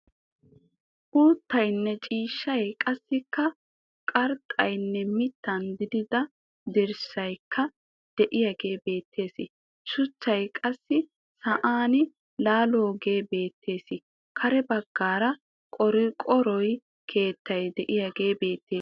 Uuttayinne ciishshay qassikka qarxxaaninne mittan direttida dirssayikka diyagee beettes. Shuchchay qassi sa'an laaloogee beettes. Kare baggaara qorqqoro keettay diyagee beettes.